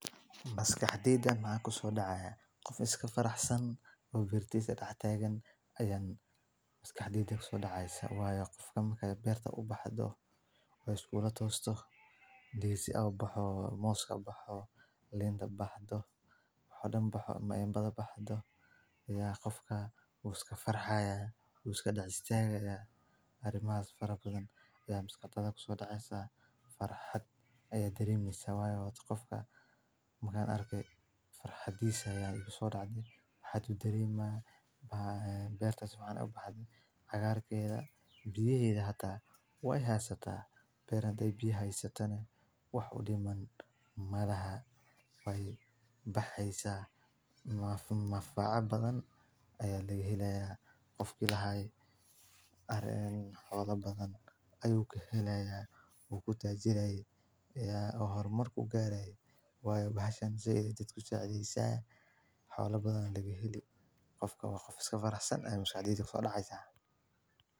Maskaxdeyda maxa ku soo dhacaya qof iska faraxsan buu birtiisa dhaqtaygan ayan. Bas ka hadhiisyen ma ku soo dhacaysa waayo. Qofka makay beer ta u baxdo oo isku walaacoosto. Dii si aw baxoo mooska baxoo leenda baxdo xoolo baxo maynbada baxdo. Iyaa qofka uu iska farxaya uu iska dhaqsiyayga aar i maa la fariin badan ayuu musuqata ku soo dhacaysa farxad iyo deriimiisa. Waaye wuxuu qofka magaan arkay farxadiisa. Yaa u soo dhacday, Xatu derima ba ah beer tusaale u baxdi. Agar keena biyeeda hata way haataa beernday biyaheyso tan wax u dhiman maalaha way baxaysa. Maaf maafaqa badan ayay la helaya. Qof kii lahay arin habla badan ayuu ku helayaa. Ugu tajinaayay. Iyaa horumarku gaaray. Way baxshaan si idinku saacadiisaa. Xawla badan laga heli. Qofka waa qof iska faraxsan, aya maskaxdeyda ku soo dhacaysa.